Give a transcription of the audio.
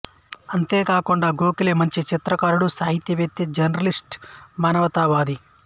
అంతే కాకుండా గోఖలే మంచి చిత్రకారుడు సాహితీవేత్త జర్నలిస్టు మానవతావాది